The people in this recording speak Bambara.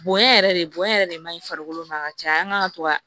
Bonɲɛ yɛrɛ de bonya yɛrɛ de man ɲi farikolo ma ka caya an kan ka to ka